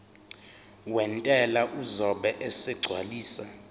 wentela uzobe esegcwalisa